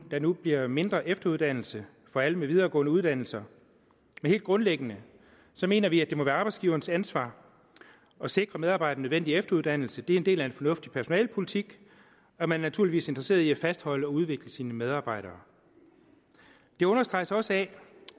der nu bliver mindre efteruddannelse for alle med videregående uddannelser men helt grundlæggende mener vi at det må være arbejdsgiverens ansvar at sikre medarbejdere den nødvendige efteruddannelse det er en del af en fornuftig personalepolitik at man naturligvis er interesseret i at fastholde og udvikle sine medarbejdere det understreges også